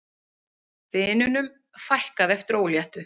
Vinunum fækkaði eftir óléttu